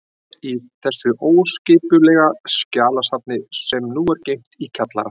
Í þessu óskipulega skjalasafni, sem nú er geymt í kjallara